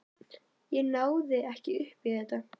Ég náði ekki upp í þetta.